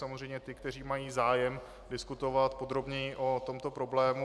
Samozřejmě ty, kteří mají zájem diskutovat podrobněji o tomto problému.